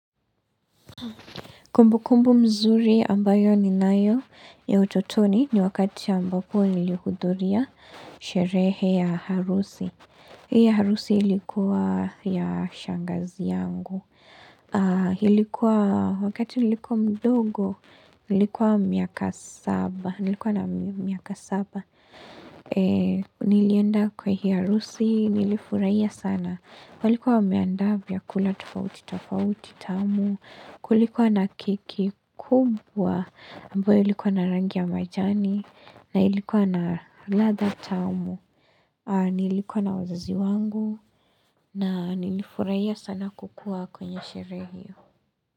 Kumbukumbu mzuri ambayo ninayo ya utotoni ni wakati ambapo nilihudhuria sherehe ya harusi. Hiyo harusi ilikuwa ya shangazi yangu. Ilikuwa wakati nilikuwa mdogo, nilikuwa miaka saba. Nilikuwa na miaka saba. Nilienda kwa hiyo harusi, nilifurahia sana. Walikuwa wameandaavyakula tofauti tofauti tamu kulikuwa na keki kubwa ambayo ilikuwa na rangi ya majani na ilikuwa na radha tamu. Nilikuwa na wazazi wangu na nilifurahia sana kukuwa kwenye sherehe hiyo.